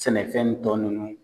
Sɛnɛfɛntɔ nunnu